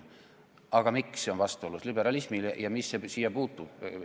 Aga miks see on vastuolus liberalismiga ja mis see siia puutub?